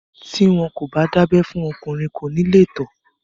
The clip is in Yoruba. Tí wọn kò bá dábẹ́ fún ọkùnrin, kò ní lè tọ̀.